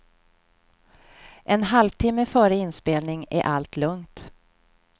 En halvtimme före inspelning är allt lugnt.